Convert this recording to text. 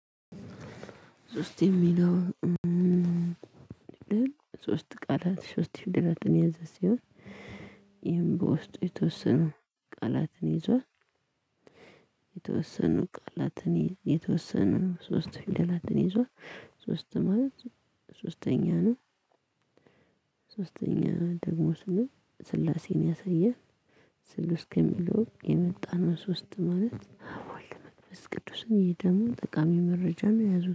ሶስት የሚለው ሶስት ቃላት ሶስት ፊደላትን የያዘ ሲሆን ይሄን በውስጡ የተወሰኑ ቃላትን ይዟል የተወሰኑ ቃላትን የተወሰኑ ሶስት ፊደላትን ይዟል ሶስት ማለት ሶስተኛ ነው። ሶስተኛ ደግሞ ስንል ስላሴን ያሳየን ሶስት እስከሚለው የመጣነው ሶስት ማለት ወልደ መንፈስ ቅዱስ ወይም ደሞ ጠቃሚ መረጃም ያዙት